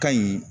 Ka ɲi